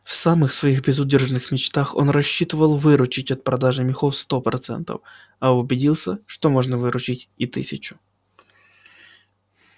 в самых своих безудержных мечтах он рассчитывал выручить от продажи мехов сто процентов а убедился что можно выручить и тысячу